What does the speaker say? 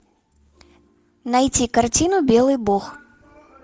найти картину белый бог